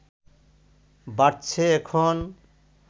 বাড়ছে এখন